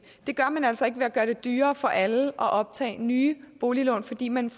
det gør man altså ikke ved at gøre det dyrere for alle at optage nye boliglån fordi man